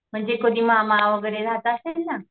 म्हणजे कुणी मामा वगैरे राहत असेल ना